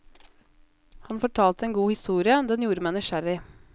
Han fortalte en god historie, den gjorde meg nysgjerrig.